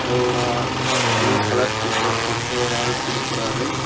ஏதோ ஒரு ஆ ப்ளூ கலர் டி_சர்ட் போட்டு ஒரு ஆள் கொடுக்கராரு.